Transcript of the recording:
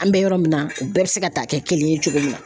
An bɛ yɔrɔ min na u bɛɛ bɛ se ka taa kɛ kelen ye cogo min na.